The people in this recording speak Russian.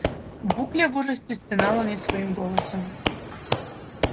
букля в ужасе стенала не своим голосом